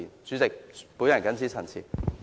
主席，我謹此陳辭。